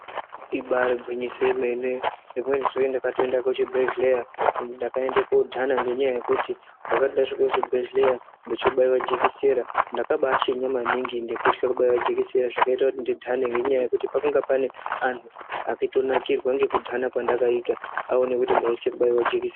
Ibaari gwinyiso yemene, rimweni zuwa ndakatoenda kuchibhedhleya ndakaende koodhana ngendaa yekuti ndakati ndasvika kuchibhedhleya ndochobaiwa jikisera ndakabaashinya maningi ngekuthya kubaiwa jikisera zvakaita kuti ndidhane ngekuti pakange pane anhu aitonakirwa ngekudhana kwendakaita aona kuti ndaithya kubairwe jikisera.